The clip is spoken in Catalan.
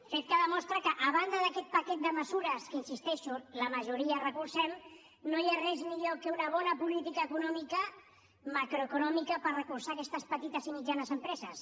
fet que demostra que a banda d’aquest paquet de mesures que hi insisteixo la majoria les recolzem no hi ha res millor que una bona política econòmica macroeconòmica per recolzar aquestes petites i mitjanes empreses